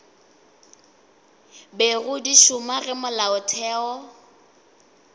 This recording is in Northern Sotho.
bego di šoma ge molaotheo